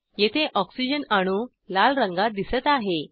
येथे ऑक्सिजन अणू लाल रंगात दिसत आहे